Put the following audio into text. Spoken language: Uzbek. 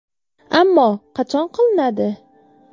Ammo qachon qilinadi?